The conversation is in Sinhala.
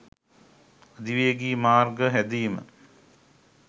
අධිවේගි මාර්ග හැදීම